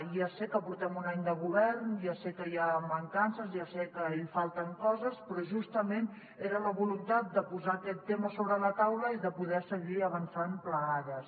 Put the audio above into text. ja sé que portem un any de govern ja sé que hi ha mancances ja sé que hi falten coses però justament era la voluntat de posar aquest tema sobre la taula i de poder seguir avançant plegades